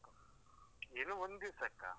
ಏನು ಒಂದ್ದಿವ್ಸಕ್ಕಾ?